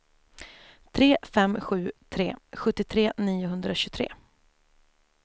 tre fem sju tre sjuttiotre niohundratjugotre